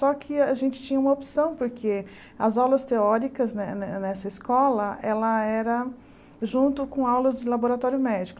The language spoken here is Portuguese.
Só que a gente tinha uma opção, porque as aulas teóricas ne ne nessa escola, ela era junto com aulas de laboratório médico.